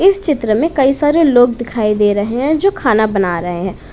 इस चित्र में कई सारे लोग दिखाई दे रहे हैं जो खाना बना रहे हैं।